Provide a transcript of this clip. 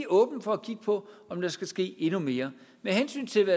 åbne for at kigge på om der skal ske endnu mere med hensyn til